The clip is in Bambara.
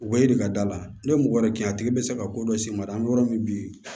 Wa e de ka da la ne ye mɔgɔ wɛrɛ kɛ a tigi bɛ se ka ko dɔ s'i ma dɛ an bɛ yɔrɔ min